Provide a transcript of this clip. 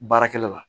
Baarakɛla la